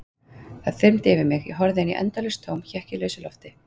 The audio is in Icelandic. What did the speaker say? Það þyrmdi yfir mig, ég horfði inn í endalaust tóm, hékk í lausu lofti.